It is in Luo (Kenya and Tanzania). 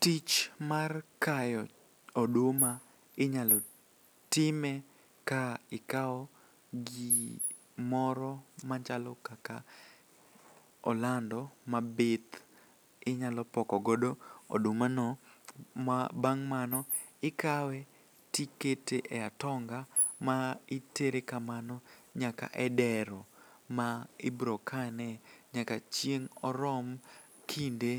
Tich mar kayo oduma inyalo time ka ikawo gimoro machalo kaka olando mabith inyalo pokogodo odumano ma bang' mano ikawe tikete e atonga ma itere kamano nyaka e dero ma ibrokane nyaka chieng' orom kinde